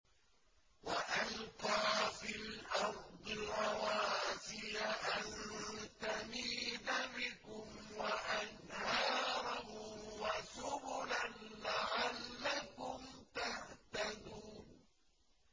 وَأَلْقَىٰ فِي الْأَرْضِ رَوَاسِيَ أَن تَمِيدَ بِكُمْ وَأَنْهَارًا وَسُبُلًا لَّعَلَّكُمْ تَهْتَدُونَ